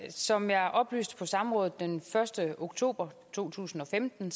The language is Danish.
som jeg oplyste på samrådet den første oktober to tusind og femten